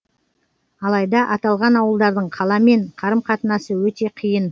алайда аталған ауылдардың қаламен қарым қатынасы өте қиын